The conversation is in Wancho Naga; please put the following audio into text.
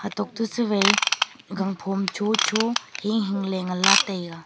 tokto sivai gangphom chocho hing hing ley nganla taiga.